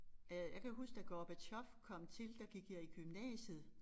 Øh jeg kan huske da Gorbatjov kom til der gik jeg i gymnasiet